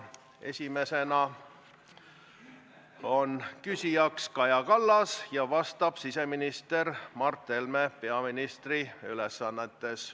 Esimene küsija on Kaja Kallas ja vastab siseminister Mart Helme peaministri ülesannetes.